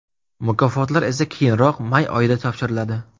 Mukofotlar esa keyinroq, may oyida topshiriladi.